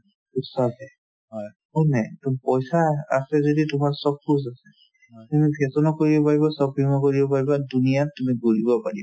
to sab hai হয়নে to পইচা আ~ আছে যদি তোমাৰ sab kuch আছে তুমি fashion ও কৰিব পাৰিবা shopping ও কৰিব পাৰিব duniya ত তুমি ঘূৰিব পাৰিবা